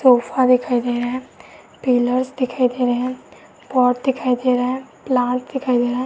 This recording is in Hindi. सोफ़ा दिखाई दे रहे है। पिलर्स दिखाई दे रहे हैं। पोट दिखाई दे रहे है। प्लाट दिखाई दे रहे है।